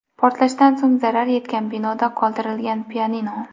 Portlashdan so‘ng zarar yetgan binoda qoldirilgan pianino.